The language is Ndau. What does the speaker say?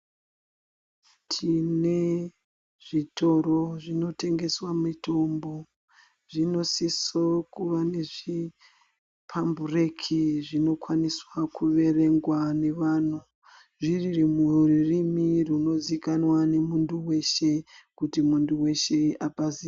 Tine zvitoro zvinotengeswe mitombo zvinosiso kuva nezvipambureki zvinokwaniswa kuverenga nevantu, zvirimururimi runizikanwa nemuntu weshe kuti muntu weshe apaziye.